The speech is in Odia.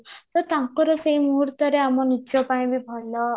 ତ ତାଙ୍କର ସେଇ ମୁହୁରତରେ ଆମ ନିଜ ପାଇଁ ବି ଭଲ